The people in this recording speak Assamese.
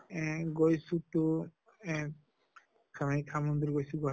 এহ গৈছো তো এহ কামাখ্য়া মন্দিৰ গৈছো, বাকী